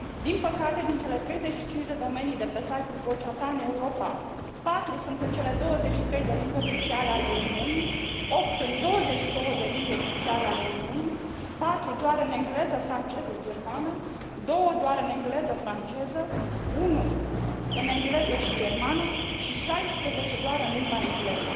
Din păcate, din cele 35 de domenii de pe site ul Vocea ta în Europa, patru sunt în cele 23 de limbi oficiale ale Uniunii, opt în 22 de limbi oficiale ale Uniunii, patru doar în engleză, franceză, germană, două doar în engleză, franceză, unul în engleză și germană și 16 doar în limba engleză.